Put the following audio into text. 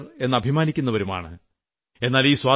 സ്വതന്ത്ര പൌരർ എന്ന് അഭിമാനിക്കുന്നവരുമാണ്